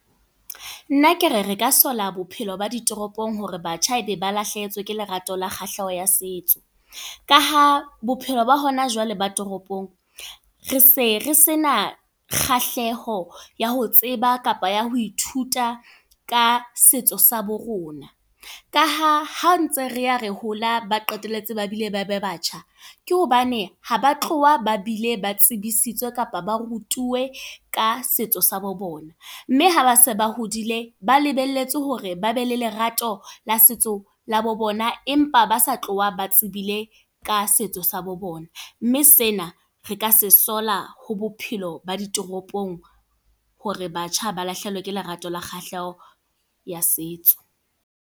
Nna ke re re ka sola bophelo ba ditoropong, hore batjha e be ba lahlehetswe ke lerato le kgahleho ya setso. Ka ha bophelo ba hona jwale ba toropong, re se re sena kgahleho ya ho tseba kapa ya ho ithuta ka setso sa bo rona. Ka ha, ha ntse re ya re hola, ba qetelletse ba bile ba ba batjha. Ke hobane haba tloha ba bile ba tsebisitswe kapa ba rutuwe ka setso sa bo bona. Mme ha base ba hodile ba lebelletse hore ba be le lerato la setso la bo bona, empa ba sa tloha ba tsebile ka setso sa bo bona. Mme sena, re ka se sola ho bophelo ba ditoropong hore batjha ba lahlehelwe ke lerato le kgahleho ya setso.